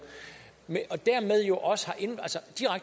og dermed jo også